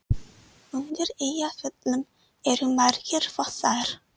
Undir Eyjafjöllum eru margir fossar.